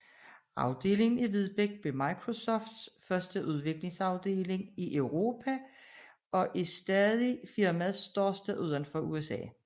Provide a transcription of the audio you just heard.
Afdelingen i Vedbæk blev Microsofts første udviklingsafdeling i Europa og er stadig firmaets største uden for USA